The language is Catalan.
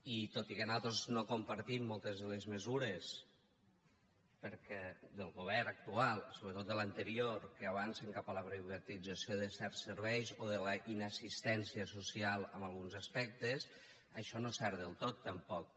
i tot i que nosaltres no compartim moltes de les mesures del govern actual sobretot de l’anterior que avancen cap a la privatització de certs serveis o la inassistència social en alguns aspectes això no és cert del tot tampoc